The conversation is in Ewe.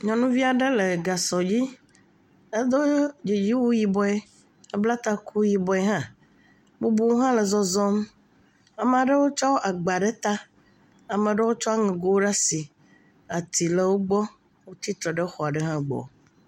Nyɔnuvi aɖe le gasɔ dzi. Edo dziwu yibɔe. Ebla taku yibɔe hã. Bubuwo hã le zɔzɔm. Ama ɖewo tsɔ agba ɖe ta. Ama ɖewo tsɔ aŋɛgo ɖaa si. Ati le wogbɔ. Wotsi tre ɖe xɔ ɖe hã gbɔ.